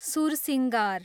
sursingar